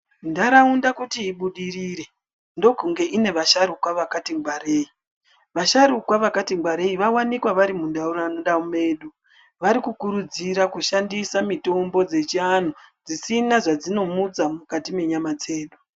Ntaraunda kuti ibudirire ndokunge ine vasharukwa vakati ngwarei vasharukwa vakati ngwarei vawanikwa vari muntaraunda mwedu varikukurudzira kushandisa mitombo dzechivantu dzisina zvadzinomutsa mukati mwenyama dzedu.